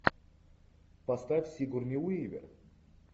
поставь сигурни уивер